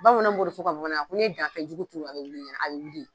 Bamanan b'o fɔ u ka fɔ u ka Bamanankan ko n'i ye danfɛnjugu turu, a bɛ wuli i ye , a bɛ wuli.